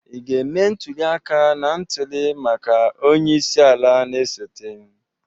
Ị ga-eme ntuli aka na ntuli maka onye isi ala na-esote?